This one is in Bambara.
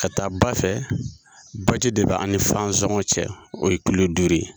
Ka taa ba fɛ, baji de bɛ an ni Fansɔngɔ cɛ o ye kilo duuru ye.